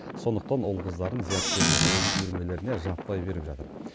сондықтан ұл қыздарын зияткерлік ойын үйірмелеріне жаппай беріп жатыр